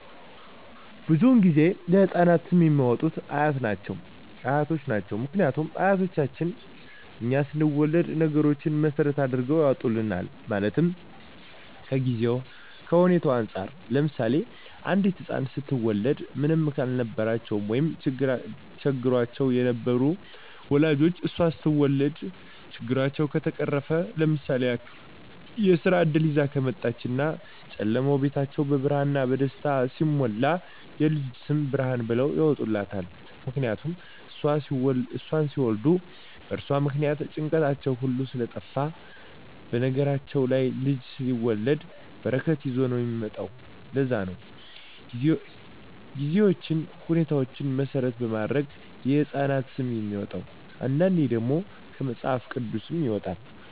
ብዙዉን ጊዜ ለህፃናት ስም የሚያወጡት አያት ናቸዉ ምክንያቱም አያቶቻችን እኛ ስንወለድ ነገሮች መሰረት አድርገዉ ያወጡልናል ማለትም ከጊዜዉ ከሁኔታዉ እንፃር ለምሳሌ አንዲት ህፃን ስትወለድ ምንም ያልነበራቸዉ ወይም ቸግሯቸዉ የነበሩ ወላጆቿ እሷ ስትወለድ ችግራቸዉ ከተፈቀረፈ ለምሳሌ ያክል የስራ እድል ይዛ ከመጣች እና ጨለማዉ ቤታቸዉ በብርሃን በደስታ ሲሞላ የልጅቱ ስም ብርሃን ብለዉ ያወጡላታል ምክንያቱም እሷን ሲወልዱ በእርሷ ምክንያት ጭንቀታቸዉ ሁሉ ስለጠፍ በነገራችን ላይ ልጅ ሲወለድ በረከት ይዞ ነዉ የሚመጣዉ ለዛ ነዉ ጊዜዎችን ሁኔታዎች መሰረት በማድረግ የህፃናት ስም የሚወጣዉ አንዳንዴ ደግሞ ከመፅሀፍ ቅዱስም ይወጣል